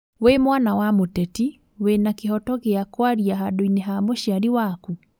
Wĩ mwana wa mũteti wĩna kihoto gĩa kwarĩa handũinĩ ha mũciari waku?